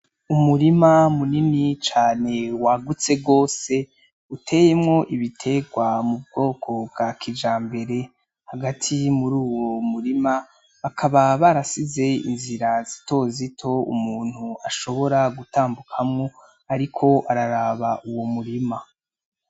Umurima munini cane wagutse gose uteyemwo ibiterwa mu bwoko bwa kijambere, hagati mur’uwo murima hakaba hari inzira zitozito umuntu ashobora gutambukamwo ariko araraba Uwo murima.